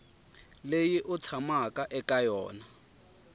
leyi u tshamaka eka yona